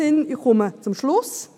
Ich komme zum Schluss.